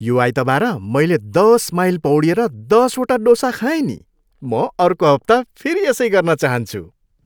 यो आइतबार मैले दस माइल पौडिएर दसवटा डोसा खाएँ नि। म अर्को हप्ता फेरि यसै गर्न चाहन्छु।